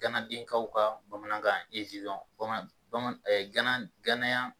Ganadenkaw ka bamanankan ezilɔn bamanan gana ganayan